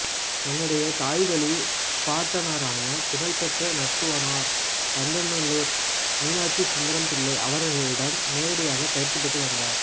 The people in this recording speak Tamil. தன்னுடைய தாய்வழிப் பாட்டனாரான புகழ்பெற்ற நட்டுவனாா் பந்தநல்லுாா் மீனாட்சி சுந்தரம் பிள்ளை அவா்களிடம் நேரடி பயிற்சி பெற்று வந்தாா்